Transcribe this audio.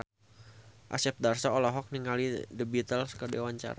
Asep Darso olohok ningali The Beatles keur diwawancara